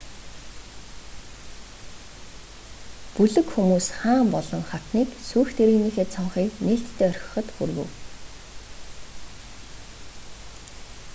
бүлэг хүмүүс хаан болон хатныг сүйх тэрэгнийхээ цонхыг нээлттэй орхиход хүргэв